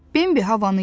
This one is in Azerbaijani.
Bimbi havanı iylədi.